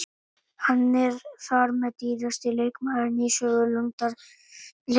Hann er þar með dýrasti leikmaðurinn í sögu Lundúnarliðsins.